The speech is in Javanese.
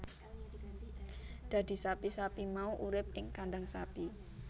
Dadi sapi sapi mau urip ing kandhang sapi